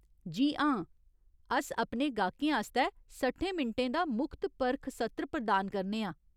जी हां, अस अपने गाह्कें आस्तै सट्ठें मिंटें दा मुख्त परख सत्र प्रदान करने आं।